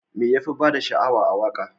Me yafi bada sha'awa a waka?